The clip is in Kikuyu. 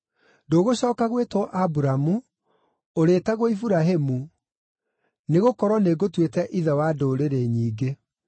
Ndũgũcooka gwĩtwo Aburamu; ũrĩĩtagwo Iburahĩmu, nĩgũkorwo nĩngũtuĩte ithe wa ndũrĩrĩ nyingĩ.